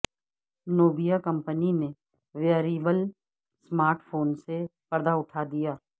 Nubia company نے wearable smart phone سے پردہ اٹھا دیا